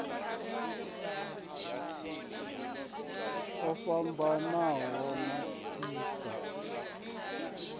o fhambanaho a si a